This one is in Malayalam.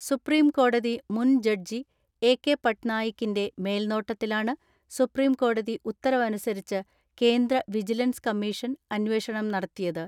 സുപ്രീം കോടതി മുൻ ജഡ്ജി എ കെ പട്നായി ക്കിന്റെ മേൽനോട്ടത്തിലാണ് സുപ്രീം കോടതി ഉത്തര വനുസരിച്ച് കേന്ദ്ര വിജിലൻസ് കമ്മീഷൻ അന്വേഷണം നടത്തിയത്.